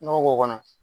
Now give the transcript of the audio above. Nɔgɔ k'o kɔnɔ